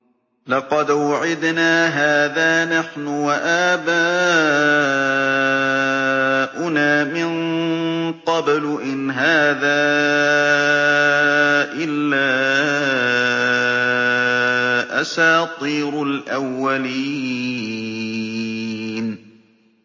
لَقَدْ وُعِدْنَا هَٰذَا نَحْنُ وَآبَاؤُنَا مِن قَبْلُ إِنْ هَٰذَا إِلَّا أَسَاطِيرُ الْأَوَّلِينَ